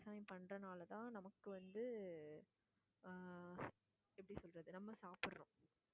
விவசாயம் பண்றதுனால தான் நமக்கு வந்து ஆஹ் எப்படி சொல்றது நம்ம சாப்பிடுறோம்.